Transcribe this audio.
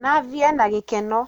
Nathi ena gĩkeno.